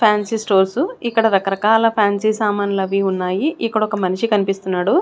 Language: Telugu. ఫాన్సీ స్టోర్సు ఇక్కడ రకరకాల ఫ్యాన్సీ సామాన్లవి ఉన్నాయి ఇక్కడ ఒక మనిషి కన్పిస్తున్నాడు.